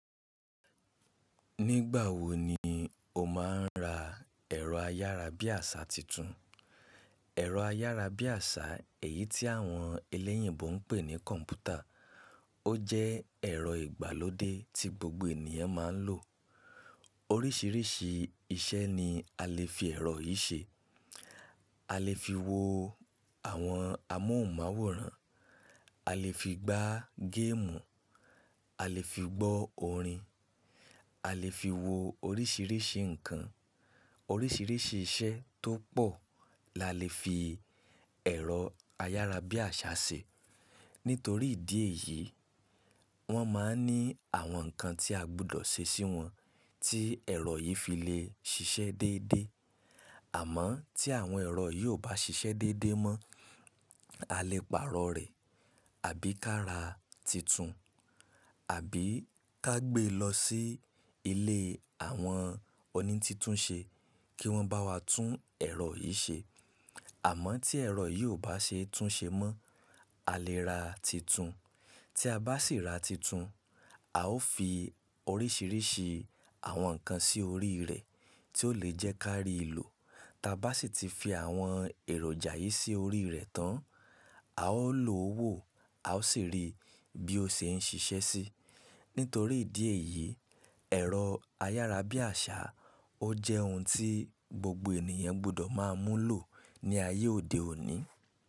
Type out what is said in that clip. Nígbà wo ni o máa ń ra ẹ̀rọ ayárabíàṣá tuntun? Ẹ̀rọ ayárabíàṣá, èyí tí àwọn ẹlẹ́yìnbo ń pè ní kọ́̀mpútà. Ó jẹ́ ẹ̀rọ ìgbàlódé tí gbogbo ènìyàn máa ń lò. Orísìírísìí iṣẹ́ ni a lè fi ẹ̀rọ yìí ṣe. A lè fi wo àwọn amóhùnmáwòrán, a lè fi gbá géèmù, a lè fi gbọ́ orin, a lè fi wo orísìírísìí nǹkan. Orísìírísìí iṣẹ́ tó pọ̀ la lè fi ẹ̀rọ ayárabíàṣá ṣe. Nítorí ìdí èyí, wọ́n máa ń ní àwọn nǹkan tí a gbọdọ̀ ṣe sí wọn tí ẹ̀rọ yìí fi lè ṣiṣẹ́ déédéé. Àmọ́ tí àwọn ẹ̀rọ yìí ò bá ṣiṣẹ́ déédéé mọ́, a lè pààrọ̀ rẹ̀ àbí ká ra titun, àbí ká gbé lọ sí ilé àwọn oní títún ṣe kí wọ́n bá wa tún ẹ̀rọ yìí ṣe. Àmọ́ tí ẹ̀rọ yìí ò bá ṣe tún ṣe mọ́, a lè ra titun. Tí a bá sì ra titun, a ó fi orísìírísìí àwọn nǹkan sí orí rẹ̀ tí ó lè jẹ́ ká rí ìlò. Tí a bá sì ti fi àwọn èròjà yìí sí orí rẹ̀ tán, a ó lo wó a ó sì rí bí ó ṣe ń ṣiṣẹ́ sí. Nítorí ìdí èyí, ẹ̀rọ ayárabíàṣá ó jẹ́ ohun tí gbogbo ènìyàn gbọdọ̀ máa mú lò ní ayé òde òní.